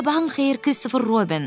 Sabahın xeyir, Kristofer Robin!